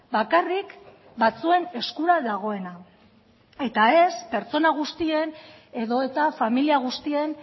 bakarrik batzuen eskura dagoena eta ez pertsona guztien edota familia guztien